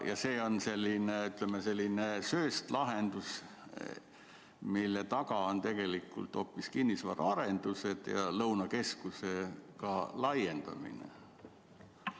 Kas see on selline sööstlahendus, mille taga on tegelikult hoopis kinnisvaraarendused ja ka Lõunakeskuse laiendamine?